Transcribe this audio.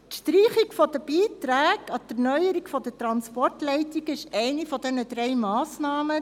Zu Ziffer 3: Die Streichung der Beiträge an die Erneuerung der Transportleitungen ist eine der drei Massnahmen.